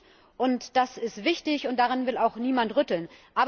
Das ist gut, und das ist wichtig, und daran will auch niemand rütteln.